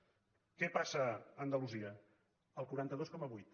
què passa a andalusia el quaranta dos coma vuit